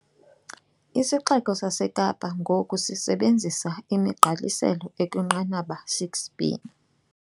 IsiXeko saseKapa ngoku sisebenzisa imigqaliselo ekwinqanaba 6B.